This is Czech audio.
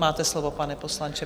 Máte slovo, pane poslanče.